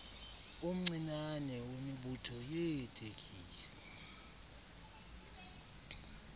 omncinane wemibutho yeetekisi